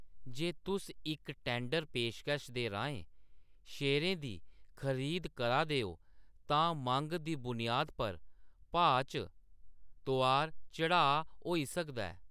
जे तुस इक टैंडर पेशकश दे राहें शेयरें दी खरीद करा दे ओ, तां मंग दी बुनियाद पर भाऽ च तोआर-चढ़ाऽ होई सकदा ऐ।